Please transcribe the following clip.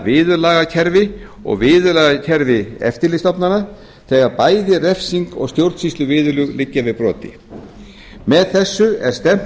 viðurlagakerfi og viðurlagakerfi eftirlitsstofnana þegar bæði refsing og stjórnsýsluviðurlög liggja við broti með þessu er stefnt